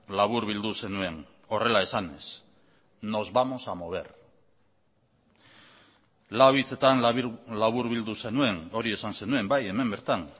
laburbildu zenuen horrela esanez nos vamos a mover lau hitzetan laburbildu zenuen hori esan zenuen bai hemen bertan